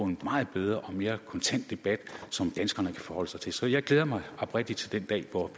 en meget bedre og mere kontant debat som danskerne kan forholde sig til så jeg glæder mig oprigtigt den dag hvor